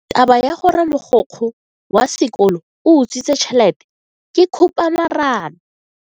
Taba ya gore mogokgo wa sekolo o utswitse tšhelete ke khupamarama.